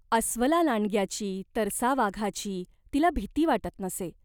अस्वलालांडग्याची, तरसावाघाची तिला भीती वाटत नसे.